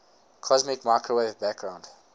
cosmic microwave background